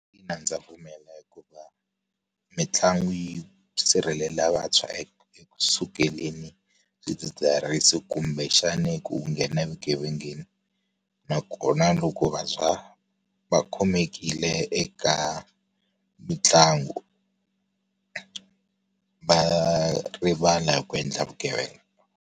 Ina ndza pfumela hikuva, mitlangu yi sirhelela vantshwa eku eku sukeleni swidzidziharisi kumbexana ku nghena evugevengeni. Nakona loko vantshwa, va khomekile eka mitlangu va rivala hi ku endla vugevenga.